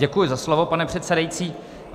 Děkuji za slovo, pane předsedající.